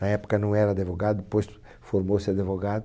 Na época não era adevogado, depois formou-se adevogado.